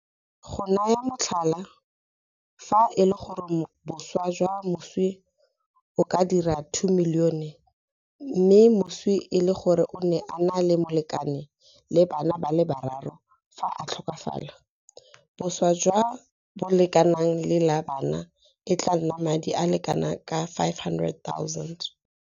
Go naya motlhala, fa e le gore boswa jwa moswi bo ka dira R2 milione mme moswi e le gore o ne a na le molekane le bana ba le bararo fa a tlhokafala, boswa jo bo lekanang le la bana e tla nna madi a le kanaka R500 000.